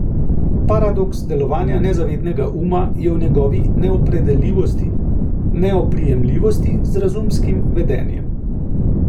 Paradoks delovanja nezavednega uma je v njegovi neopredeljivosti, neoprijemljivosti z razumskim vedenjem.